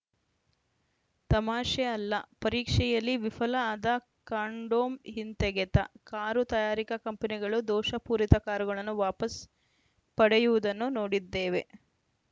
ತಮಾಷೆ ಅಲ್ಲ ಪರೀಕ್ಷೆಯಲ್ಲಿ ವಿಫಲ ಆದ ಕಾಂಡೋಮ್‌ ಹಿಂತೆಗೆತ ಕಾರು ತಯಾರಿಕಾ ಕಂಪನಿಗಳು ದೋಷಪೂರಿತ ಕಾರುಗಳನ್ನು ವಾಪಸ್‌ ಪಡೆಯುವುದನ್ನು ನೋಡಿದ್ದೇವೆ